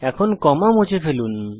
এখন কমা মুছে ফেলুন